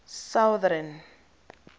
southern